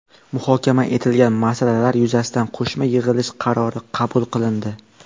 Muhokama etilgan masalalar yuzasidan qo‘shma yig‘ilish qarori qabul qilindi.